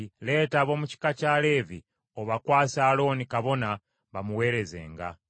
“Leeta ab’omu kika kya Leevi obakwase Alooni kabona bamuweerezenga.